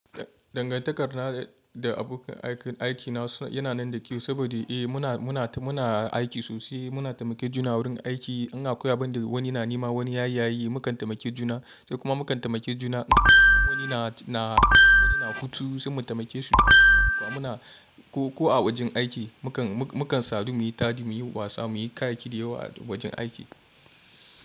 Dangantakarna da abokan aikina yana nan da kyau saboda muna aiki sosai, muna taimake juna wurin aiki. In akwai abin da wani na nema wani ya yaye, mukan taimake juna sai kuma mukan taimake juna wani na hutu sai mu taimake su ko a wajen aiki mu kan sadu muyi tadi, muyi wasa, muyi kayayyaki da yawa a wajen aiki.